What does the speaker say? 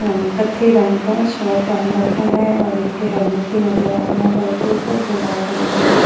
कथई रंग का शर्ट पहन रखा है और एक हेलमेट भी नजर आ रहा है बाइक के उपर जो लाल रंग का है।